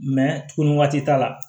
tuguni waati t'a la